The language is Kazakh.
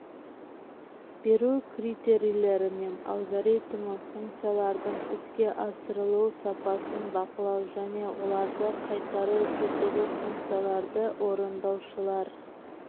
беру критерийлері мен алгоритмі функциялардың іске асырылу сапасын бақылау және оларды қайтару тетігі функцияларды орындаушылар